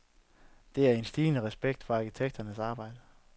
Der er en stigende respekt for arkitekters arbejde.